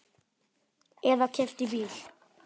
Eða keypti bíl.